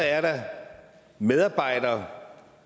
er medarbejdere